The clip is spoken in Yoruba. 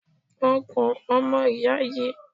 Ọ̀kùn ọmọ ìyá yi.